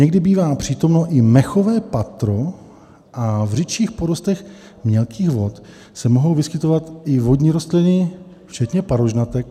Někdy bývá přítomno i mechové patro a v řidších porostech mělkých vod se mohou vyskytovat i vodní rostliny včetně parožnatek.